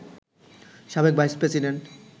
সাবেক vice president